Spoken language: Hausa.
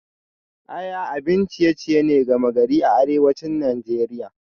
Aya abin ciye-ciye ne gama gari a arewacin Najeriya